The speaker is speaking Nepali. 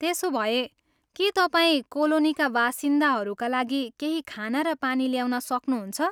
त्यसोभए, के तपाईँ कोलोनीका बासिन्दाहरूका लागि केही खाना र पानी ल्याउन सक्नुहुन्छ?